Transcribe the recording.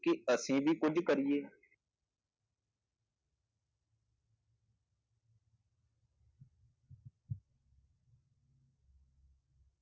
ਕਿ ਅਸੀਂ ਵੀ ਕੁੱਝ ਕਰੀਏ।